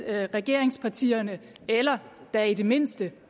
at regeringspartierne eller da i det mindste